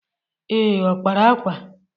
Ee ọ kpara akwa?